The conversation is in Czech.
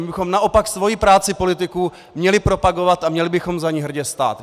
My bychom naopak svoji práci politiků měli propagovat a měli bychom za ní hrdě stát.